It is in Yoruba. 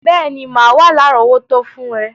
Béèní, má wa lárọ̀wọ́tó fun rẹ